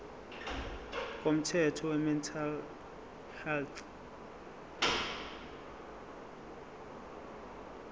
komthetho wemental health